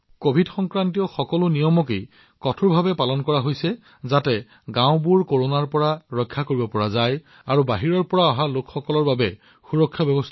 covid নিয়মবোৰ কঠোৰভাৱে অনুসৰণ কৰি মানুহে তেওঁলোকৰ গাওঁখনক কৰোনাৰ পৰা সুৰক্ষিত কৰি আছে বাহিৰৰ পৰা অহা লোকসকলৰ বাবেও সঠিক ব্যৱস্থা কৰা হৈছে